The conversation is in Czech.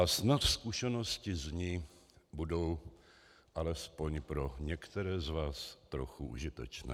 A snad zkušenosti z ní budou alespoň pro některé z vás trochu užitečné.